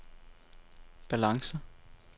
balance